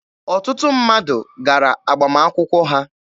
Ọtụtụ mmadụ gara agbamakwụkwọ ha.